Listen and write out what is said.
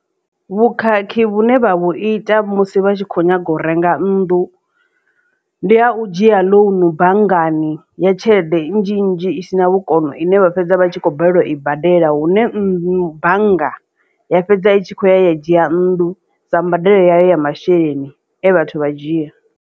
Vhukhakhi vhune vha vhu ita musi vha tshi kho nyaga u renga nnḓu ndi ha u dzhia ḽounu banngani ya tshelede nnzhi nnzhi isina vhukono ine vha fhedza vha tshi khou balelwa u i badela hune nnḓu bannga ya fhedza i tshi khou ya u dzhia nnḓu sa mbadelo ya masheleni e vhathu vha dzhia.